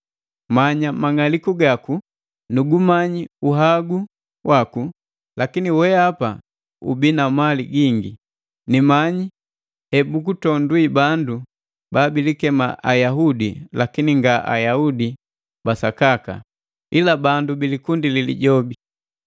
Manya mang'aliku gaku; nu gumanyi uhagu waku, lakini weapa ubi na mali gingi; nimanyi hebugutondwi bandu babilikema Ayaudi lakini nga Ayaudi ba sakaka, ila bandu bilikundi li Lijobi.